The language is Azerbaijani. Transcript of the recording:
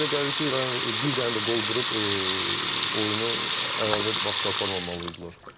Mənə elə gəlir ki, bir dənə də qol vurub oyunu əlavə vaxta aparmamalı idilər.